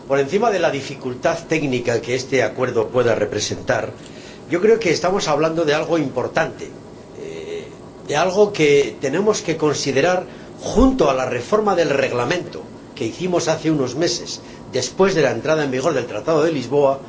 Por encima de la dificultad técnica que este Acuerdo pueda representar, creo que estamos hablando de algo importante, de algo que tenemos que considerar junto a la reforma del Reglamento que hicimos hace unos meses, después de la entrada en vigor del Tratado de Lisboa.